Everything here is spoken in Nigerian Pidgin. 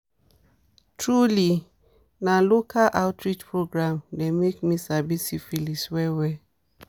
truely na local outreach program dem make me sabi syphilis well well